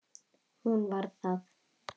Hún var það.